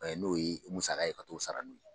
N'o ye musaka ye ka t'o sara n'o ye.